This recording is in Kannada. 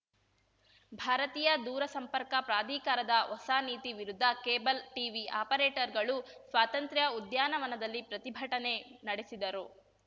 ಭಾರತೀಯ ದೂರಸಂಪರ್ಕ ಪ್ರಾಧಿಕಾರದ ಹೊಸ ನೀತಿ ವಿರುದ್ಧ ಕೇಬಲ್‌ ಟಿವಿ ಅಪರೇಟರ್‌ಗಳು ಸ್ವಾತಂತ್ರ್ಯ ಉದ್ಯಾನವನದಲ್ಲಿ ಪ್ರತಿಭಟನೆ ನಡೆಸಿದರು